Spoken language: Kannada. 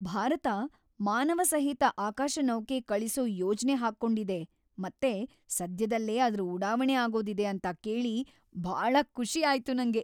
ಭಾರತ ಮಾನವಸಹಿತ ಆಕಾಶನೌಕೆ ಕಳಿಸೋ ಯೋಜ್ನೆ ಹಾಕ್ಕೊಂಡಿದೆ ಮತ್ತೆ ಸದ್ಯದಲ್ಲೇ ಅದ್ರ ಉಡಾವಣೆ ಆಗೋದಿದೆ ಅಂತ ಕೇಳಿ ಭಾಳ ಖುಷಿ ಆಯ್ತು ನಂಗೆ.